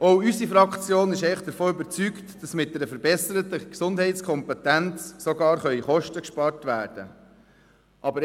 Auch unsere Fraktion ist davon überzeugt, dass mit einer verbesserten Gesundheitskompetenz sogar Kosten gespart werden können.